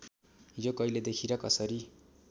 यो कहिलेदेखि र कसरी